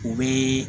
U bɛ